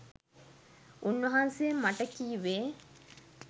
උන්වහන්සෙ මට කිවේ